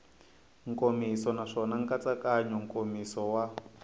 nkomiso naswona nkatsakanyo nkomiso wa